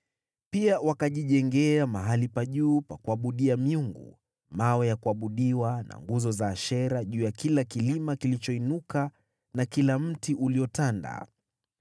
Pia wakajijengea mahali pa juu pa kuabudia miungu, mawe ya kuabudiwa na nguzo za Ashera juu ya kila kilima kilichoinuka na kila mti uliotanda.